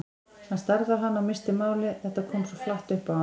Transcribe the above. Hann starði á hana og missti málið, þetta kom svo flatt upp á hann.